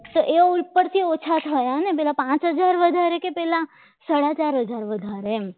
તો એ ઉપરથી ઓછા થાય અને પેલા પાચ હજાર વધારે કે પહેલા સાડા ચાર હજાર વધારે એમ